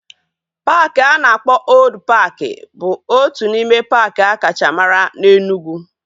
Paaki a na-akpọ Old paaki bụ otu n'ime paaki akacha mara na Enugwu